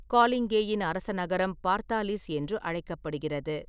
காலிங்கேயின் அரச நகரம் பார்த்தாலிஸ் என்று அழைக்கப்படுகிறது.